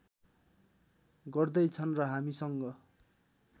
गर्दै छन् र हामीसँग